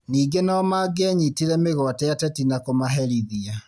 Ningĩ nomangĩanyitire mĩgwate ateti na kũmaherithia